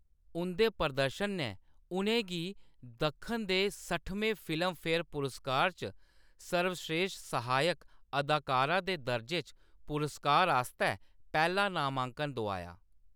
उंʼदे प्रदर्शन ने उʼनें गी दक्खन दे सट्ठमें फिल्मफेयर पुरस्कार च सर्वश्रेश्ठ सहायक अदाकारा दे दर्जे च पुरस्कार आस्तै पैह्‌‌ला नामांकन दोआया।